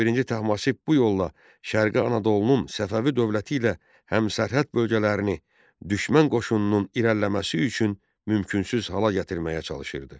Şah birinci Təhmasib bu yolla şərqi Anadolunun Səfəvi dövləti ilə həmsərhəd bölgələrini düşmən qoşununun irəliləməsi üçün mümkünsüz hala gətirməyə çalışırdı.